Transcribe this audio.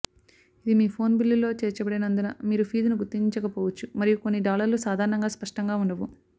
ఇది మీ ఫోన్ బిల్లులో చేర్చబడినందున మీరు ఫీజును గుర్తించకపోవచ్చు మరియు కొన్ని డాలర్లు సాధారణంగా స్పష్టంగా ఉండవు